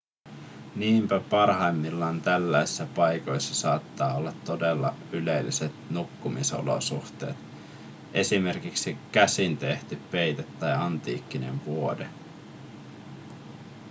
niinpä parhaimmillaan tällaisissa paikoissa saattaa olla todella ylelliset nukkumisolosuhteet esimerkiksi käsintehty peite tai antiikkinen vuode